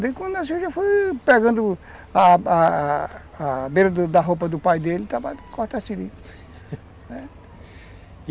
Desde quando nasceu já foi pegando a a beira da roupa do pai dele e estava cortando a seringa.